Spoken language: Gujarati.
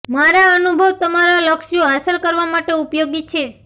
મારા અનુભવ તમારા લક્ષ્યો હાંસલ કરવા માટે ઉપયોગી છે